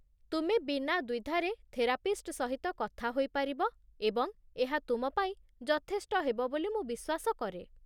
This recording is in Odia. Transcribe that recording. ତୁମେ ବିନା ଦ୍ୱିଧାରେ ଥେରାପିଷ୍ଟ ସହିତ କଥା ହୋଇପାରିବ ଏବଂ ଏହା ତୁମ ପାଇଁ ଯଥେଷ୍ଟ ହେବ ବୋଲି ମୁଁ ବିଶ୍ୱାସ କରେ।